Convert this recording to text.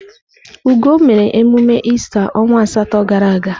Ugo mere emume ista onwa asatọ gara aga.